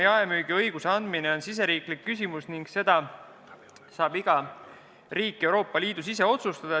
Jaemüügiõiguse andmine on riigisisene küsimus, mida saab iga riik Euroopa Liidus ise otsustada.